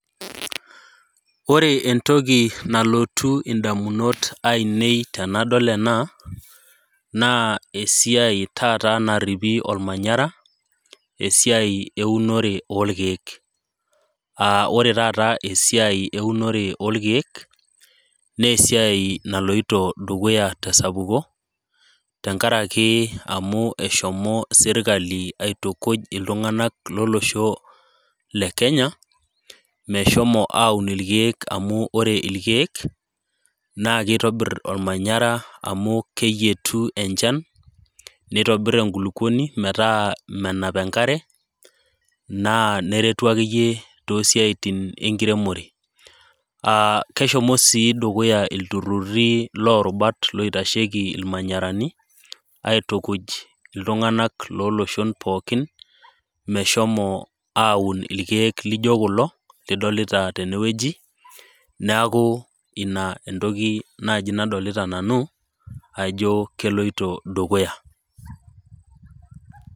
Ore entoki nalotu indamunot ainei tenadol ena naa esiia taata naripi olmanyara, esiai eunore o ilkeek, aa ore taata esiai eunore o ilkeek, naa esiai naloito dukuy ate esapuko tenkaraki eshomo sirkali aitukuj iltung'ana lolosho le Kenya, meshomo aun ilkeek amu ore ilkeek, naa keitobir olmanyara au keyietu enchan, neitobir enkulukuoni metaa ,menap enkare, naa neretu ake iyie too isiaitin enkiremore. Keshomo sii dukuya loo irubat oitasheiki ilmanyarani aitukuj iltung'ana lolosho pookin meshomo an ilkeek loijo kulo lidolita tene wueji, neaku ina naaji entoki nadolita nanu ajo keloito dukuya.